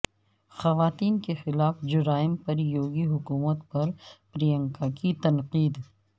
خواتین کیخلاف جرائم پر یوگی حکومت پر پرینکا کی تنقید